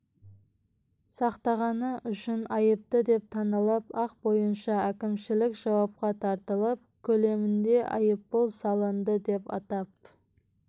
сақтағаны үшін айыпты деп танылып әк бойынша әкімшілік жауапқа тартылып көлемінде айыппұл салынды деп атап